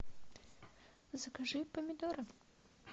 закажи помидоры